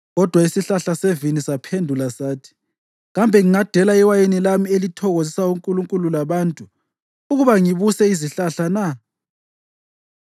Kodwa isihlahla sevini saphendula sathi, ‘Kambe ngingadela iwayini lami elithokozisa onkulunkulu labantu, ukuba ngibuse izihlahla na?’